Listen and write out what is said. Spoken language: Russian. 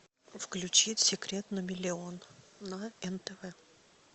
включить секрет на миллион на нтв